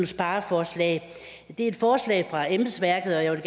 spareforslag det er et forslag fra embedsværket og jeg vil